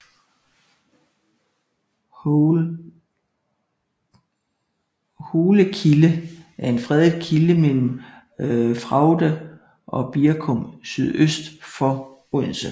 Hole Kilde er en fredet kilde mellem Fraugde og Birkum sydøst for Odense